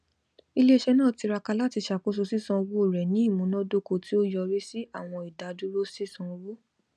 iléiṣẹ náà tiraka láti ṣàkóso sísan owó rẹ ní imunadoko ti ó yọrí sí àwọn idaduro sisan owó